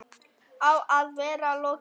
Á að vera lokið fyrir